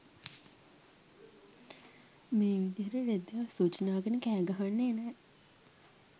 මේ විදියට රෙද්දෙ අසූචි නාගෙන කෑ ගහන්නෙ නෑ